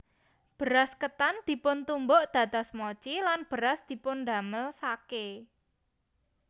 Beras ketan dipuntumbuk dados mochi lan beras dipundamel sake